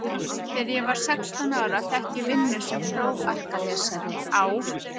Þegar ég var sextán ára fékk ég vinnu sem prófarkalesari á